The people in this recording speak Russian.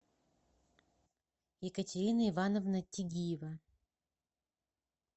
екатерина ивановна тигиева